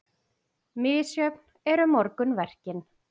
Misjöfn eru morgunverkin.